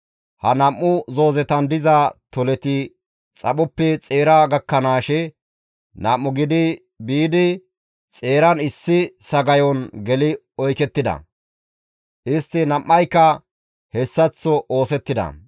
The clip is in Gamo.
Ha nam7u zoozetan diza toleti xaphoppe xeera gakkanaashe nam7u gidi biidi xeeran issi sagayon geli oykettida. Istti nam7ayka hessaththo oosettida.